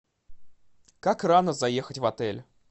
как рано заехать в отель